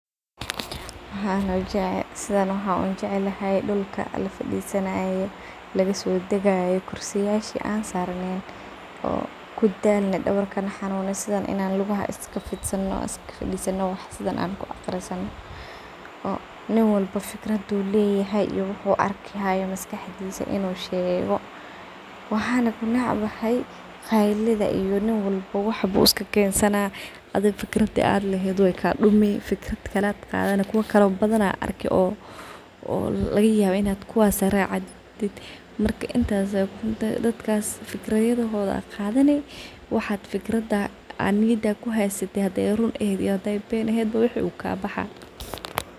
waxan aa ujeclhy sidhan waxa ujeclahay dulka la fadisanaye lagasodagaye kursiyashe an sarneyn oo kudalne dawarka naxanune sidhan inaa luqaha iska fitsano aan iska fadesano waxa sidahan an kuaqarisano oo nin walaba fikradu lay hay iyo waxu arki hayo maskaxdisa inu sheego waxan aan necbahay qayladha iyo nin walba waxa iskakensana adiga fikarda aad laheed waay kadumi fikrad kale aad qadhani kuwakale badhana arki oo lagayabo inaa kuwaas racdid marka intaas dadkas fikrayadha aqaadhani waxa fikrada niyada kuhaysatit haday ruun ama been eehed wuu kabaxa.